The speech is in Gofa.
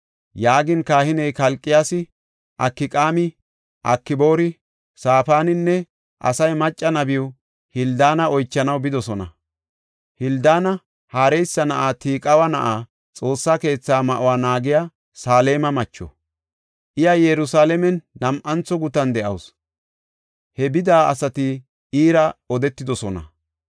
Yaagin kahiney Kalqiyaasi, Akqaami, Akboori, Safaaninne Asayi macca nabiw Hildaana oychanaw bidosona. Hildaana Harihaasa na7aa Tiqiwa na7a, Xoossa keetha ma7uwa naagiya Saleema macho. Iya Yerusalaamen nam7antho gutan de7awsu. He bida asati iira odetidosona.